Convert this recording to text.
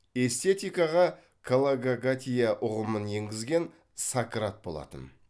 эстетикаға калокагатия ұғымын енгізген сократ болатын